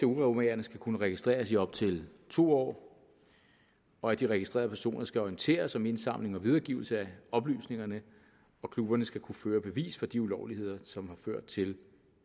uromagerne skal kunne registreres i op til to år og at de registrerede personer skal orienteres om indsamling og videregivelse af oplysningerne klubberne skal kunne føre bevis for de ulovligheder som har ført til